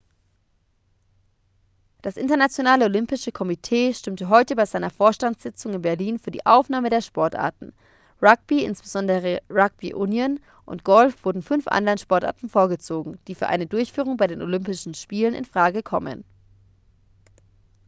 das internationale olympische komitee stimmte heute bei seiner vorstandssitzung in berlin für die aufnahme der sportarten rugby insbesondere rugby union und golf wurden fünf anderen sportarten vorgezogen die für eine durchführung bei den olympischen spielen in frage kommen